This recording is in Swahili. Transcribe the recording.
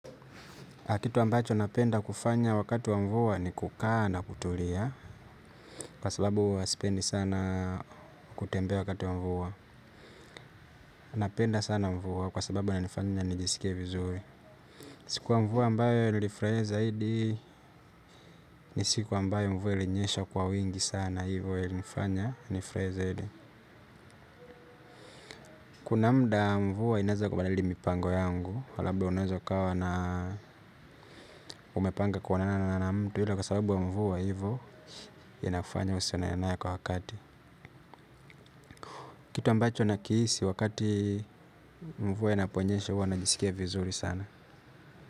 Kitu ambacho napenda kufanya wakati wa mvua ni kukaa na kutulia kwa sababu huwa sipendi sana kutembea wakati wa mvua. Napenda sana mvua kwa sababu inanifanya nijisike vizuri. Siku ya mvua ambayo ilinifurahisha zaidi ni siku ambayo mvua ilinyesha kwa wingi sana hivyo ilifanya nifurahie zaidi. Kuna muda mvua inaweza kubadili mipango yangu labda unaweza ukawa na umepanga kuonana na mtu ila kwa sababu wa mvua hivyo inafanya usionane naye kwa wakati. Kitu ambacho nakihisi wakati mvua inaponyesha huwa najisikia vizuri sana.